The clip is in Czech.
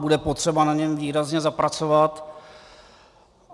Bude potřeba na něm výrazně zapracovat.